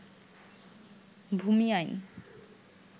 ভূমি আইন